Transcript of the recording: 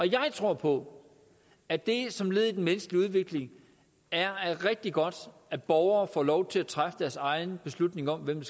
jeg tror på at det som led i den menneskelige udvikling er rigtig godt at borgere får lov til at træffe deres egne beslutninger om hvem